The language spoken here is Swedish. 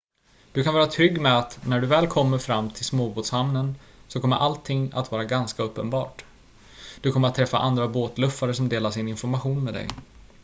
du kan vara trygg med att när du väl kommer fram till småbåtshamnen så kommer allting att vara ganska uppenbart du kommer att träffa andra båtluffare som delar sin information med dig